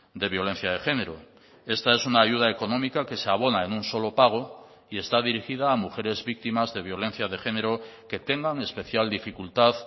de violencia de género esta es una ayuda económica que se abona en un solo pago y está dirigida a mujeres víctimas de violencia de género que tengan especial dificultad